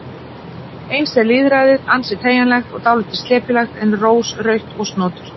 Eins er með lýðræðið, ansi teygjanlegt og dálítið slepjulegt en rósrautt og snoturt